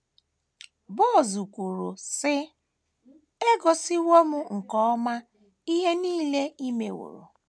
Boaz kwuru, sị: “ E gosiwo m nke ọma ihe nile i meworo. ”